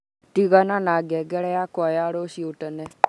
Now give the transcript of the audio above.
tigana na ngengere yakwa ya rũciũ tene